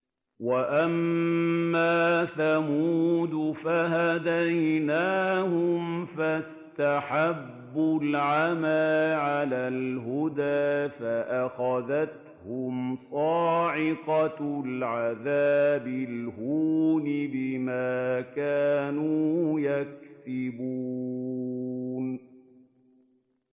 وَأَمَّا ثَمُودُ فَهَدَيْنَاهُمْ فَاسْتَحَبُّوا الْعَمَىٰ عَلَى الْهُدَىٰ فَأَخَذَتْهُمْ صَاعِقَةُ الْعَذَابِ الْهُونِ بِمَا كَانُوا يَكْسِبُونَ